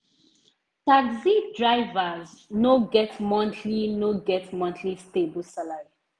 taxi drivers no get monthly no get monthly stable salary.